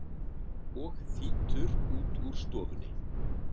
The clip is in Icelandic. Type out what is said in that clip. og þýtur út úr stofunni.